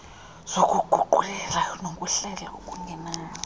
zokuguqulela nokuhlela okungenani